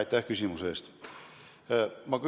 Aitäh küsimuse eest!